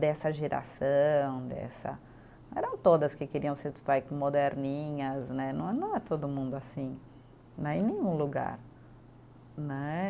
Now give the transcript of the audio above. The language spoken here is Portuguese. dessa geração, dessa, eram todas que queriam ser vai moderninhas né, não não é todo mundo assim né, em nenhum lugar né.